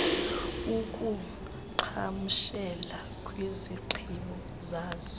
akuqhagamshela kwizigqibo zazo